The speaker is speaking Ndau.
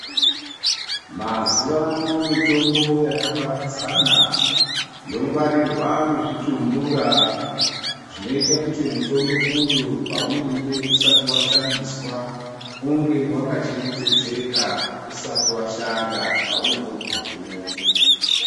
Mazuva ano mitombo yaka paradzana yogwarirwa muzvi tumbura zvinoite kuti mitombo uyu paunenge usati wa shandiswa unge waka chengetedzeka usati washanda paunozondo guma kumuntu.